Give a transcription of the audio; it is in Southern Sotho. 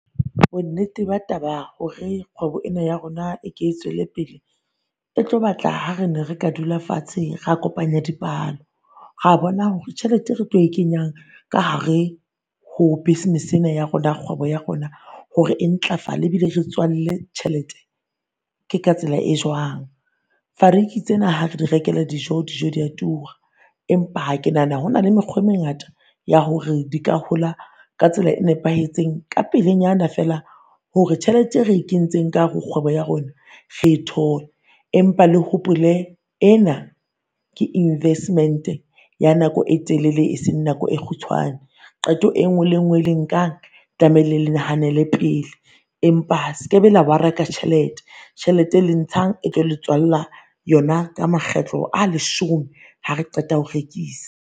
Bo nnete ba taba hore kgwebo ena ya rona e ke e tswele pele, e tlo batla ha re ne re ka dula fatshe ra kopanya dipalo. Ra bona hore tjhelete e re tlo e kenyang ka hare ho business ena ya rona kgwebo ya rona hore e ntlafale ebile e re tswalle tjhelete ke ka tsela e jwang. Fariki tsena ha re di rekele dijo dijo di a tura. Empa ha ke nahana hona le mekgwa e mengata ya hore di ka hola ka tsela e nepahetseng ka pele nyana feela, hore tjhelete e re e kentseng ka hare ho kgwebo ya rona re e tole. Empa le hopole ena ke investment-e ya nako e telele e seng nako e kgutshwane. Qeto e nngwe le e nngwe e le nkang tlamehile le nahanele pele. Empa sekebe la ka tjhelete, tjhelete e le e ntshang e tlo tswalla yona ka makgetlo a leshome ha re qeta ho rekisa.